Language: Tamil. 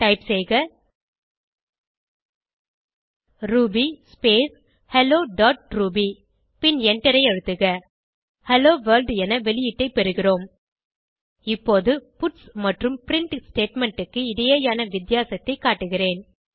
டைப் செய்க Ruby space hello dot R B பின் எண்டரை அழுத்துக ஹெல்லோவொர்ல்ட் என வெளியீடை பெறுகிறோம் இப்போது பட்ஸ் மற்றும் பிரின்ட் ஸ்டேட்மெண்ட் க்கு இடையேயான வித்தியாசத்தைக் காட்டுகிறேன்